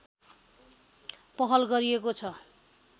पहल गरिएको छ